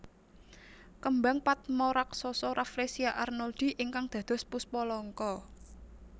Kembang patma raksasa Rafflesia arnoldii ingkang dados Puspa Langka